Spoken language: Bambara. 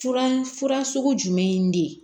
Fura fura sugu jumɛn de ye